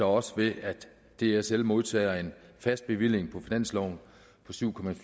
også ved at dsl modtager en fast bevilling på finansloven på syv